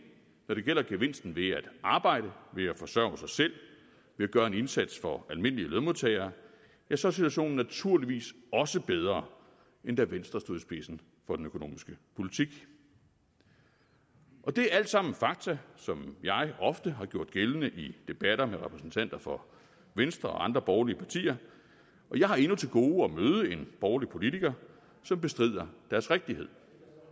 når det gælder gevinsten ved at arbejde ved at forsørge sig selv ved at gøre en indsats for almindelige lønmodtagere ja så er situationen naturligvis også bedre end da venstre stod i spidsen for den økonomiske politik det er alt sammen fakta som jeg ofte har gjort gældende i debatter med repræsentanter for venstre og andre borgerlige partier og jeg har endnu til gode at møde en borgerlig politiker som bestrider deres rigtighed